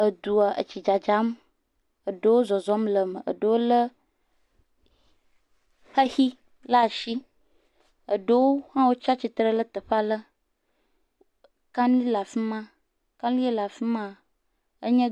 Edua etsi dzadzam. Eɖewo zɔzɔm le eme, eɖewo le xexi ɖe asi, eɖewo hã wotsi atsitre ɖe teƒe aɖe. Kanu le afi ma. Ke nue le afi maa…